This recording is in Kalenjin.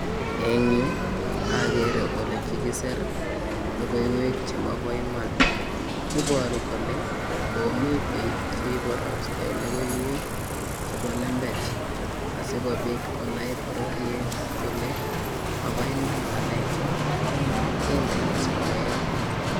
Eng akere ole kikiser lokoiwek chemabo Iman iboru kole komi biik cheiborostoi lokoiwek chebo lembech asikobit konai bororiet kole maboiman ngalecho kendeni soet.